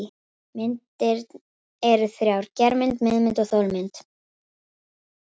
Myndir eru þrjár: germynd, miðmynd og þolmynd.